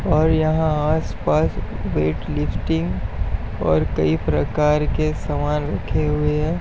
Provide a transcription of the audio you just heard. और यहाँ आसपास वेटलिफ्टिंग और कई प्रकार के सामान रखे हुए हैं।